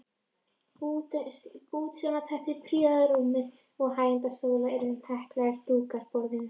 Bútasaumsteppi prýða rúmið og hægindastólana en heklaðir dúkar borðin.